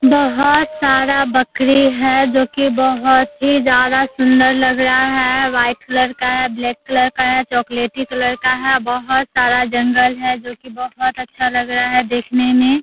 बहुत सारा बकरी है जो कि बहुत ही ज्‍यादा सुन्‍दर लग रहा है व्हाइट कलर का है ब्लैक कलर का है चॉकलेटी कलर का है बहुत सारा जंगल है जो कि बहुत अच्‍छा लग रहा है देखने मे।